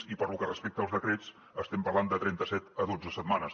i pel que respecta als decrets estem parlant de trenta set a dotze setmanes